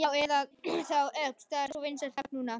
Já, eða þá Ögn, það er svo vinsælt nafn núna.